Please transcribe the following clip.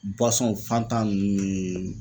fantan nunnu ne.